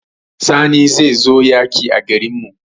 Sani zai zo yaƙi a garin mu